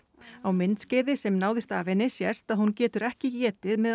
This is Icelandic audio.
á myndskeiði sem náðist af henni sést að hún getur ekki étið með